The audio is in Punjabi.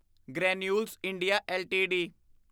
granules India LTD